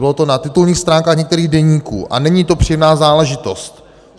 Bylo to na titulních stránkách některých deníků a není to příjemná záležitost.